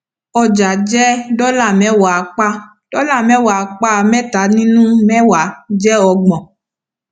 ọjà jẹ dọlà mẹwàá apá dọlà mẹwàá apá mẹta ninu mẹwàá jẹ ọgbọn